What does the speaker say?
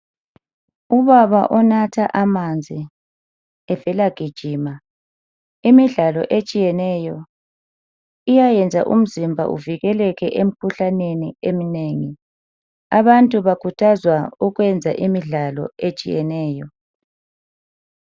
Ubaba onatha amanzi evela gijima. Imidlalo etshiyeneyo iyayenza umzimba uvikeleke emikhuhlaneni eminengi. Abantu bakhuthazwa ukwenze imidlalo etshiyeneyo.